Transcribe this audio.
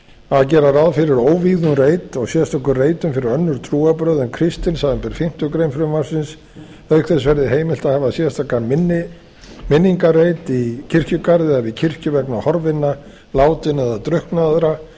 að gera ráð fyrir óvígðum reit og sérstökum reitum fyrir önnur trúarbrögð en kristni samanber fimmtu grein frumvarpsins auk þess verði heimilt að hafa sérstakan minningarreit í kirkjugarði eða við kirkju vegna horfinna látinna eða drukknaðra